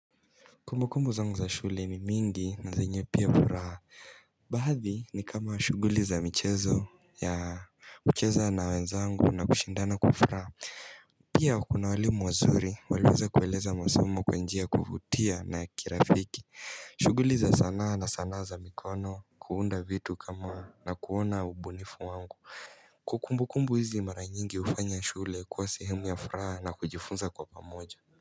Kumbukumbu zangu za shule ni mingi na zenye pia furaha Baadhi ni kama shughuli za michezo ya kucheza na wenzangu na kushindana kwa furaha Pia kuna walimu wazuri walioweza kueleza masomo kwa njia ya kuvutia na ya kirafiki shughuli za sanaa na sanaa za mikono kuunda vitu kama na kuona ubunifu wangu Kumbukumbu hizi mara nyingi hufanya shule kuwa sehemu ya furaha na kujifunza kwa pamoja.